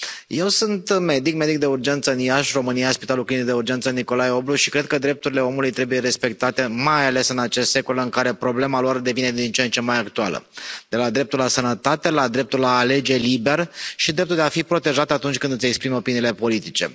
Eu sunt medic, medic de urgență în Iași, România, Spitalul Clinic de Urgență Nicolae Oblu și cred că drepturile omului trebuie respectate, mai ales în acest secol în care problema lor devine din ce în ce mai actuală de la dreptul la sănătate la dreptul la a alege liber și dreptul de a fi protejat atunci când îți exprimi opiniile politice.